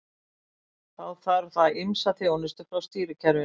Þá þarf það ýmsa þjónustu frá stýrikerfinu.